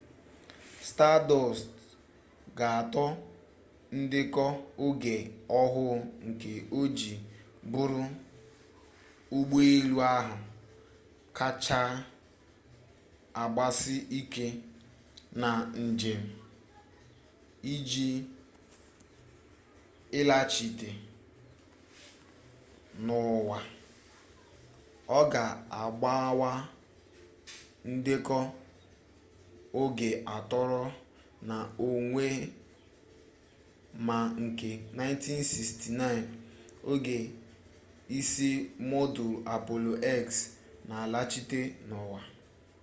stardust ga atoo ndeko oge ohuu nke oji buru ugboelu kacha agbasi ike na njem iji ilaghachite n'uwa o ga agbawa ndeko oge atooro na onwa may nke 1969 oge isi modulu apollo x n'alaghachite n'uwa